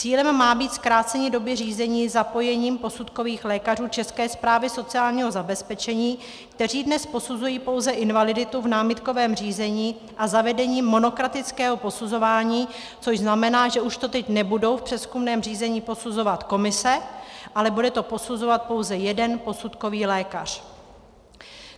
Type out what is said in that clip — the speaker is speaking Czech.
Cílem má být zkrácení doby řízení zapojením posudkových lékařů České správy sociálního zabezpečení, kteří dnes posuzují pouze invaliditu v námitkovém řízení, a zavedení monokratického posuzování, což znamená, že už to teď nebudou v přezkumném řízení posuzovat komise, ale bude to posuzovat pouze jeden posudkový lékař.